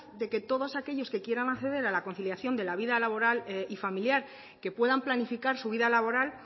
de que todos aquellos que quieran acceder a la conciliación de la vida laboral y familiar que puedan planificar su vida laboral